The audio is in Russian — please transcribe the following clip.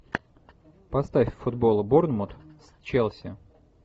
поставь футбол борнмут с челси